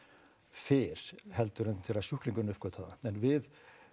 fyrr heldur en þegar sjúklingurinn uppgötvar það en við